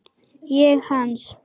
Ég hans.